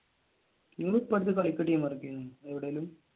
നിങ്ങൾ ഇപ്പോൾ എവിടേലും